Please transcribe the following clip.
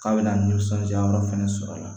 K'a bɛna ni nisɔndiyayɔrɔ fɛnɛ sɔrɔ la